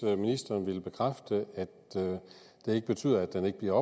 om ministeren vil bekræfte at det ikke betyder at den ikke bliver